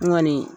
N kɔni